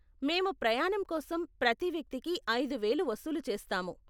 మేము ప్రయాణం కోసం ప్రతి వ్యక్తికి ఐదు వేలు వసూలు చేస్తాము.